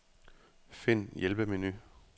Find hjælpemenu.